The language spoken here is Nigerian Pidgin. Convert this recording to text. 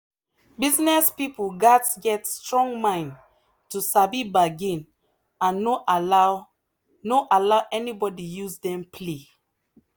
business people gats get strong mind to sabi bargain and no allow no allow anybody use dem play.